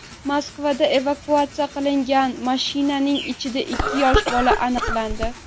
Moskvada evakuatsiya qilinayotgan mashinaning ichida ikki yosh bola aniqlandi.